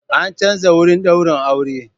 An canza wurin daurin aure.